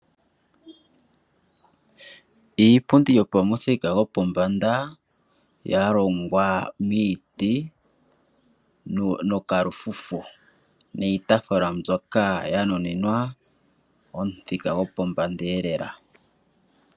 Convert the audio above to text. Iipundi yapumuthika gwopombanda , yalongwa miiti nokalufufu. Niitaafula mbika oyanuninwa omuthika gwo pombanda lela.